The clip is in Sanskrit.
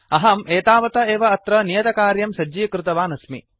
अहम् एतावता एव अत्र नियतकार्यं सज्जीकृतवान् अस्मि